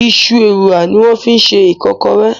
Iṣu Ewùrà ni wọ́n fi ṣe Ìkọ́kọrẹ́